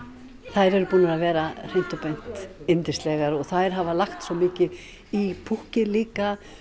þær eru búnar að vera hreint og beint yndislegar og þær hafa lagt svo mikið í púkkið líka